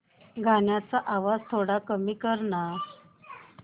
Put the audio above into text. गाण्याचा आवाज थोडा कमी कर ना